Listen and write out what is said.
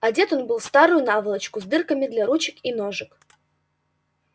одет он был в старую наволочку с дырками для ручек и ножек